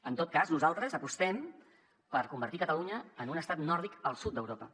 en tot cas nosaltres apostem per convertir catalunya en un estat nòrdic al sud d’europa